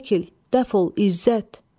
Çəkil, dəf ol, İzzət.